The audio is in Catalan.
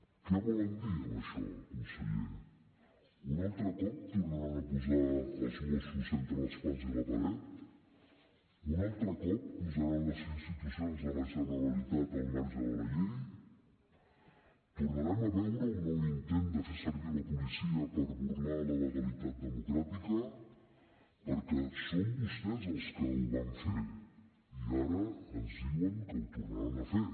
què volen dir amb això conseller un altre cop tornaran a posar els mossos entre l’espasa i la partit un altre cop posaran les institucions de la generalitat al marge de la llei tornarem a veure un nou intent de fer servir la policia per burlar la legalitat democràtica perquè són vostès els que ho van fer i ara ens diuen que ho tornaran a fer